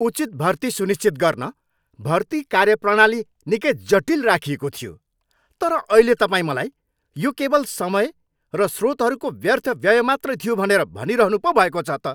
उचित भर्तीका लागि सुनिश्चित गर्न भर्ति कार्यप्रणाली निकै जटिल राखिएको थियो, तर अहिले तपाईँ मलाई यो केवल समय र स्रोतहरूको व्यर्थ व्यय मात्रै थियो भनेर भनिरहनु पो भएको छ त।